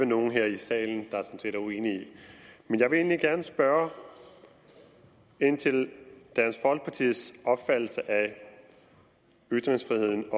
nogen her i salen der er uenig i jeg vil egentlig gerne spørge ind til dansk folkepartis opfattelse af ytringsfriheden